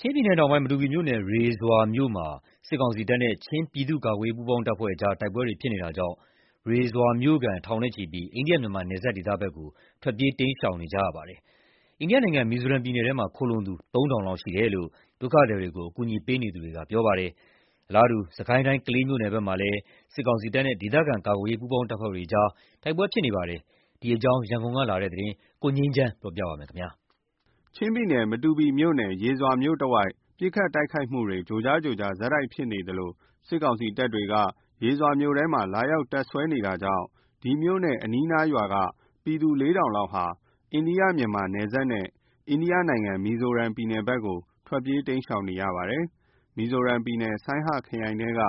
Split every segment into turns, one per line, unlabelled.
ချင်းပြည်နယ်တောင်ပိုင်း မတူပီမြို့နယ် ရေဇွာမြို့မှာ စစ်ကောင်စီတပ်နဲ့ ချင်းပြည်သူ့ကာကွယ်ရေးပူးပေါင်းတပ်ဖွဲ့ကြား ဖြစ်နေတဲ့တိုက်ပွဲကြောင့် ရေဇွာမြို့ခံထောင်ချီ အိန္ဒိယ-မြန်မာနယ်စပ် ဒေသဘက်ကို ထွက်ပြေးတိမ်းရှောင်နေကြပါတယ်။ အိန္ဒိယနိုင်ငံ မီဇိုရမ်ပြည်နယ်ထဲမှာ ခိုလှုံသူ ၃,၀၀၀ လောက်ရှိတယ်လို့ ဒုက္ခသည်တွေကို အကူအညီပေးနေသူတွေက ပြောပါတယ်။ အလားတူ စစ်ကိုင်းတိုင်း ကလေးမြို့နယ်ဘက်မှာလည်း စစ်ကောင်စီတပ်နဲ့ ဒေသခံကာကွယ်ရေး ပူးပေါင်းတပ်ဖွဲ့တွေ၊ တိုက်ပွဲဖြစ်ပွါးနေပါတယ်။ ဒီအကြောင်း ရန်ကုန်ကနေပေးပို့လာတဲ့သတင်းကို ကိုငြိမ်းချမ်းက တင်ပြပေးထားပါတယ်။ ချင်းပြည်နယ် မတူပီမြို့ နယ် ရေဇွာမြို့တဝိုက် ပစ်ခတ်တိုက်ခိုက်မှုတွေ ကြိုကြား ကြိုကြား ဆက်ဖြစ်နေသလို စစ်ကောင်စီတပ်တွေက ရေဇွာမြို့ထဲမှာ လာရောက် တပ်စွဲနေတာကြောင့် ရေဇွာမြို့နဲ့ အနီးအနားရွာက ပြည်သူ ၄,၀၀၀ လောက် အိန္ဒိယ-မြန်မာနယ်စပ်နဲ့ အိန္ဒိယနိုင်ငံ မီဇိုရမ်ပြည်နယ်ဘက်ကို ထွက်ပြေးတိမ်း ရှောင် နေကြပါတယ်။ မီဇိုရမ်ပြည်နယ် ဆိုင်းဟခရိုင်ထဲက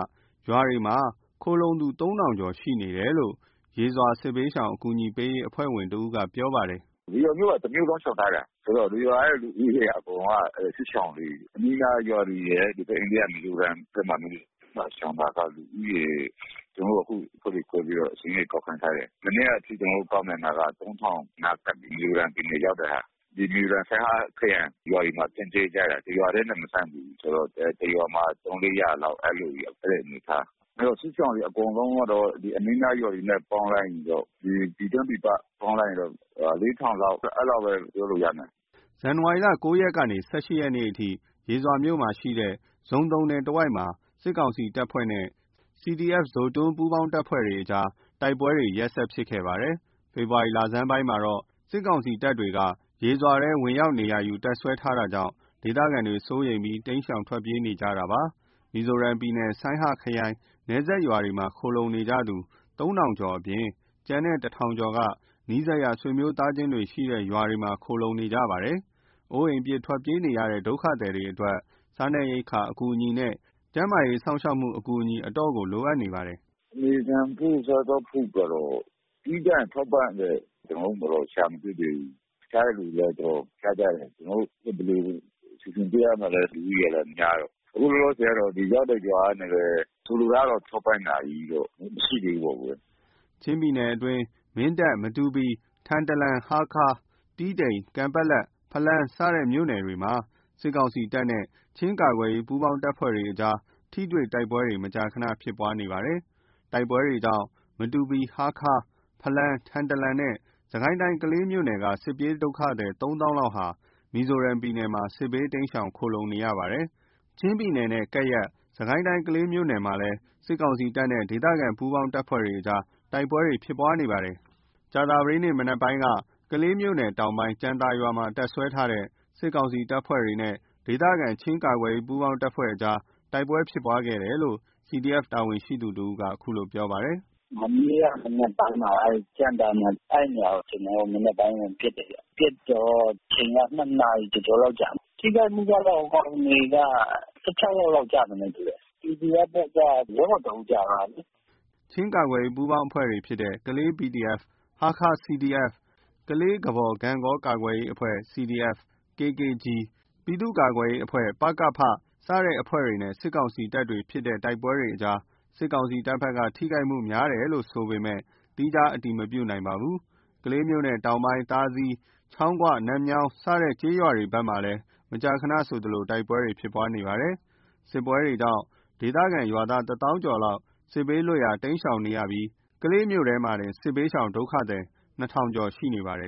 ရွာတွေမှာ ခိုလှုံသူ ၃,၀၀၀ ကျော်ရှိနေတယ်လို့ ရေဇွာစစ်ဘေးရှောင် အကူညီပေးရေးအဖွဲ့ဝင်တဦးကပြောပါတယ်
။ “ရေဇွာမြို့က တမြို့လုံးရှောင်ထားတာ။ ဆိုတော့ ရေဇွာရဲ့လူဦးရေအကုန်လုံးဟာ စစ်ရှောင်တွေ။ အနီးနားရွာတွေရယ် ဟိုဘက် အိန္ဒိယမီဇိုရမ်ဘက်မှာ ရှောင်တာက အခု အဖွဲ့တွေခွဲပြီးစာရင်းတွေ ကောက်ခံထားတယ်။ မနက်ကအထိ ကျနော်တို့ ကောက်ခံတာက (၃,၀၀၀) နားကပ်နေပြီ။ မီဇိုရမ်ပြည်နယ်ရောက်တဲ့ဟာ။ မီဇိုရမ် ဆိုင်းဟ Saiha ခရိုင် ရွာတွေမှာ စစ်ပြေးကြတယ်။ တရွာတည်းနဲ့ မဆန့်ဘူးဆိုတော့ တရွာမှာ သုံး လေးရာလောက် အဲဒီလိုမျိုးခွဲတဲ့ အနေအထား။ စစ်ရှောင်တွအကုန်လုံးကတော့ အနီးအနားရွာတွေနဲ့ပေါင်းလိုက်ရင်တော့- ဒီပြည်တွင်း ပြည်ပ ပေါင်းလိုက်ရင်တော့(၄,၀၀၀) အဲဒီလောက်ပဲပြောလို့ရနိုင်တယ်
။’’ ဇန်နဝါရီလ ၉ ရက်ကနေ ၁၈ ရက်နေ့အထိ ရေဇွာမြို့ ရှိတဲ့ ဇိုသုံနယ်တဝိုက်မှာ စစ်ကောင်စီ တပ်ဖွဲ့နဲ့ CDF-Zotung၊ပူးပေါင်းတပ်ဖွဲ့ကြား တိုက်ပွဲတွေ ရက်ဆက်ဖြစ်ပွားခဲ့ပါတယ်။ အခုဖေဖော်ဝါရီလဆန်းပိုင်းမှာတော့ စစ်ကောင်စီတပ်တွေက ရေဇွာပြီးထဲ ဝင်ရောက်နေရာယူ တပ်စွဲထားတာကြောင့် စိုးရိမ်စိတ်နဲ့ ဒေသခံတွေ တိမ်းရှောင်ထွက်ပြေးနေကြတာဖြစ်ပါတယ်။ မီဇိုရမ်ပြည်နယ် ဆိုင်းဟ Saiha ခရိုင်နယ်စပ်ရွာတွေမှာ ခိုလှုံနေကြသူ ၃ ထောင်ကျော်အပြင် ကျန်တဲ့ ၁,၀၀၀ ကျော်က နီးစပ်ရာဆွေမျိုးသားချင်းတွေရှိတဲ့ ရွာတွေမှာ ခိုလှုံနေကြရပါတယ်။ အိုးအိမ်ပစ် ထွက်ပြေးနေရတဲ့ ဒုက္ခသည်တွေအတွက် စားနပ်ရိက္ခာအကူညီနဲ့ ကျန်းမာရေးစောင့်ရှောက်မှု အကူအညီ အတော်လိုအပ်နေပါတယ်
။ “နေထိုင်ဖို့ စားသောက်ဖို့ကျတော့ အဓိကထောက်ပံ့တဲ့ဟာကျတော့ရှာမတွေ့သေးဘူး။ ဖျားတဲ့သူလည်း တော်တော်ဖျားကြတယ်။ ဖြစ်သလို စီစဉ်ပေးရတာပဲ။ လူဦးရေကလည်း များတယ်။ အခုလောလောဆယ် ကတော့ ရပ်တွေရွာကနေပဲ၊ ဆိုလိုတာကတော့ ထောက်ပံ့တာတွေ မရှိသေးဘူးပေါ့။
” ချင်းပြည်နယ်အတွင်း မင်းတပ်၊ မတူပီ၊ ထန်တလန်၊ ဟားခါး၊ တီးတိန်၊ ကန်ပက်လက်၊ ဖလမ်း စတဲ့မြို့ နယ် တွေမှာ စစ်ကောင်စီတပ်နဲ့ ချင်းကာကွယ်ရေးပူးပေါင်းတပ်ဖွဲ့တွေအကြား မကြာ မကြာ ထိတွေ့တိုက်ပွဲတွေဖြစ်နေပါတယ်။ တိုက်ပွဲတွေကြောင့် မတူပီ၊ ဟားခါး၊ ဖလမ်း၊ ထန်တလန်နဲ့ စစ်ကိုင်းတိုင်း ကလေးမြို့နယ် က စစ်ပြေးဒုက္ခသည် ၃ သောင်းလောက် မီဇိုရမ်ပြည်နယ်မှာ စစ်ဘေးတိမ်းရှောင် ခိုလှုံနေကြပါတယ်။ ချင်းပြည်နယ်နဲ့ကပ်လျက် စစ်ကိုင်းတိုင်းကလေးမြို့နယ်မှာလည်း စစ်ကောင်စီတပ်နဲ့ ဒေသခံကာကွယ်ရေး ပူးပေါင်းတပ်ဖွဲ့တို့ကြားတိုက်ပွဲဖြစ်ပွါးနေပါတယ်။ ကြာသပတေးနေ့ မနက်ပိုင်းက ကလေးမြို့နယ်တောင်ပိုင်း ကြံသာရွာမှာတပ်စွဲထားတဲ့ စစ်ကောင်စီတပ်ဖွဲ့ တွေနဲ့ ဒေသခံချင်း ကာကွယ်ရေးပူးပေါင်းအဖွဲ့တို့ကြား တိုက်ပွဲဖြစ်ပွါးခဲ့တယ်လို့ CDF တာဝန်ရှိသူတဦးကပြောပါတယ်။
“မနေ့ကမနက်ပိုင်းမှာ ကြံသာမှာ အဲဒီနေရာကို မနက်ပိုင်းမှာ ဝင်ပစ်တယ်ဗျ။ ပစ်တော့ အချိန်က နှစ်နာရီ ကျော်ကျော်လောက်ကြာတယ်။ ထိခိုက်မှုကတော့ ဟိုကောင်တွေက (၁၆) ယောက်လောက်တော့ ကျမယ်နဲ့တူတယ်။ CDF ဘက်က ရဲဘော်တဦးကျသွား
တယ်။’’ ချင်းကာကွယ်ရေးပူးပေါင်းအဖွဲ့ဖြစ်တဲ့ ကလေး PDF၊ ဟားခါး CDF၊ ကလေး၊ ကဘော်၊ ဂန့်ဂေါကာကွယ်ရေးအဖွဲ့ CDF (KKG)၊ ပြည်သူ့ကာကွယ်ရေးအဖွဲ့၊ ပကဖ- စတဲ့အဖွဲ့တွေနဲ့ စစ်ကောင်စီတပ်တို့ဖြစ်တဲ့တိုက်ပွဲမှာ စစ်ကောင်စီတပ်ဘက်က ထိခိုက်မှုများတယ်လိုဆိုပေမယ့် သီးခြားအတည်မပြုနိုင်သေးပါဘူး။ ကလေးမြို့နယ်တောင်ပိုင်း သာစည်၊ ချောင်းခွ၊ နတ်မြောင်း စတဲ့ကျေးရွာတွေဘက်မှာ မကြာခနဆိုသလို တိုက်ပွဲဖြစ် ပွါးနေပါတယ်။ စစ်ပွဲတွေကြောင့် ဒေသခံ ရွာသားတသောင်းကျော် စစ်ဘေးလွတ်ရာ တိမ်းရှောင်နေကြရပြီး ကလေးမြို့အတွင်းမှာတင် စစ်ဘေးရှောင် ဒုက္ခသည် ၂,၀၀၀ ကျော်ရှိနေပါတယ်